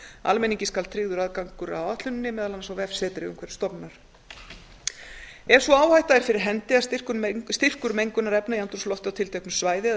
almenningi skal tryggður aðgangur að áætlun meðal annars á vefsetri umhverfisstofnunar ef sú áhætta er fyrir hendi að styrkur mengunarefna í andrúmslofti á tilteknu svæði eða